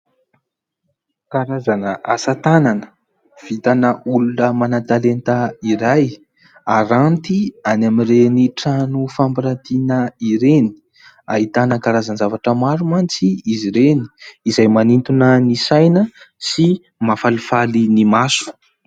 Karazana asatanana vitana olona manan-talenta iray haranty any amin'ireny trano fampiratiana ireny, ahitana karazana zavatra maro mantsy izy ireny izay manintona ny saina sy mahafalifaly ny maso.